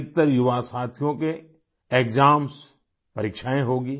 अधिकतर युवा साथियों के एक्साम्स परिक्षाए होंगी